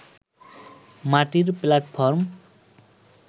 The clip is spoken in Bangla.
মাটির প্ল্যাটফর্ম